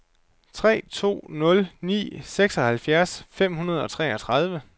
tre to nul ni seksoghalvfjerds fem hundrede og treogtredive